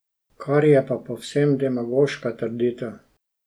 Kar je pa povsem demagoška trditev.